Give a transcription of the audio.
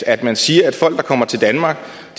at man siger at folk der kommer til danmark for